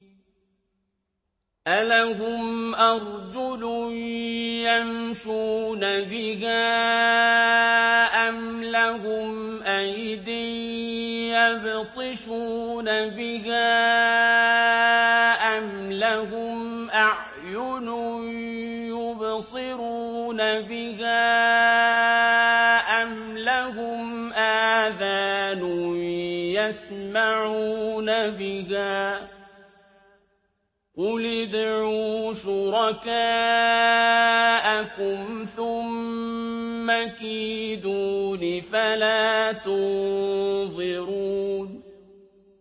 أَلَهُمْ أَرْجُلٌ يَمْشُونَ بِهَا ۖ أَمْ لَهُمْ أَيْدٍ يَبْطِشُونَ بِهَا ۖ أَمْ لَهُمْ أَعْيُنٌ يُبْصِرُونَ بِهَا ۖ أَمْ لَهُمْ آذَانٌ يَسْمَعُونَ بِهَا ۗ قُلِ ادْعُوا شُرَكَاءَكُمْ ثُمَّ كِيدُونِ فَلَا تُنظِرُونِ